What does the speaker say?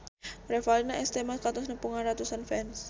Revalina S. Temat kantos nepungan ratusan fans